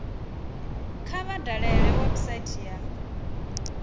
kha vha dalele website ya